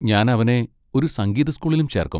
ഞാൻ അവനെ ഒരു സംഗീത സ്കൂളിലും ചേർക്കും.